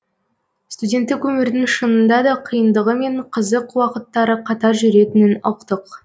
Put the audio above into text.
студенттік өмірдің шынында да қиындығы мен қызық уақыттары қатар жүретінін ұқтық